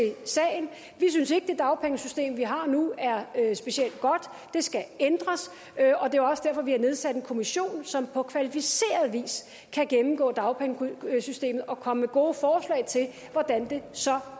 sagen vi synes ikke at det dagpengesystem vi har nu er er specielt godt det skal ændres og det er også derfor at vi har nedsat en kommission som på kvalificeret vis kan gennemgå dagpengesystemet og komme med gode forslag til hvordan det så